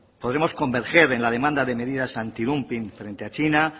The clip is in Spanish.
podremos converger en la demanda de medidas antidumping frente a china